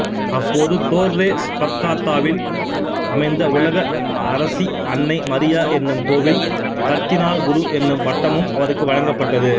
அப்போது தோர்ரே ஸ்பக்காத்தாவில் அமைந்த உலக அரசி அன்னை மரியா என்னும் கோவில் கர்தினால்குரு என்னும் பட்டமும் அவருக்கு வழங்கப்பட்டது